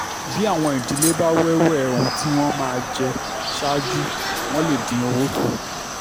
bí àwọn ìdílé bá wéwè ohun tí wọ́n máa jẹ ṣáájú wọ́n lè dín owó kù